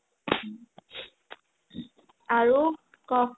আৰু ক'